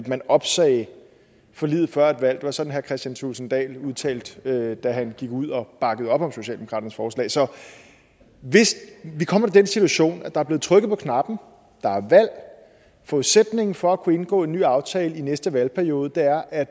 man opsagde forliget før et valg det var sådan herre kristian thulesen dahl udtalte da han gik ud og bakkede op om socialdemokratiets forslag så hvis vi kommer i den situation at der er blevet trykket på knappen og er valg og forudsætningen for at kunne indgå en ny aftale i næste valgperiode er at